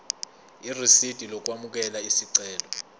irisidi lokwamukela isicelo